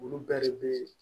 Olu bɛɛ de bɛ